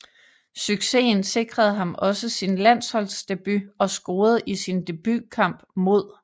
Successen sikrede ham også sin landsholdsdebut og scorede i sin debutkamp mod